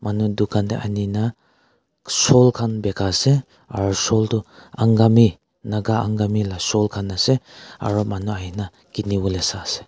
manu dukan dey anina soul khan bika ase aro shawl tu angami Naga angami la shawl khan ase aro manu ahigena kiniwole sai ase.